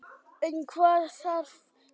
En hvað þarf til.